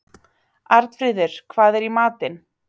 Arnfríður, hvað er í matinn?